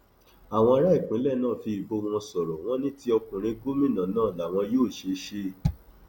àwọn ará ìpínlẹ náà fi ìbò wọn sọrọ wọn ní ti ọkùnrin gómìnà náà làwọn yóò ṣe ṣe